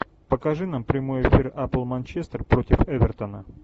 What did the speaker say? покажи нам прямой эфир апл манчестер против эвертона